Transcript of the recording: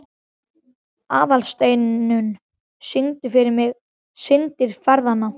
Aðalsteinunn, syngdu fyrir mig „Syndir feðranna“.